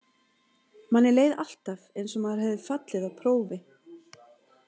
Manni leið alltaf eins og maður hefði fallið á prófi.